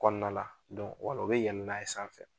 Kɔnɔna la . wala u be yɛlɛ n'a ye sanfɛ.